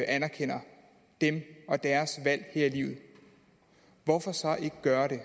anerkender dem og deres valg her i livet hvorfor så ikke gøre det